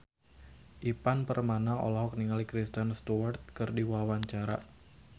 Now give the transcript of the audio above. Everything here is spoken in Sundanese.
Ivan Permana olohok ningali Kristen Stewart keur diwawancara